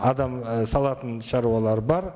адам і салатын шаруалар бар